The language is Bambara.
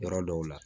Yɔrɔ dɔw la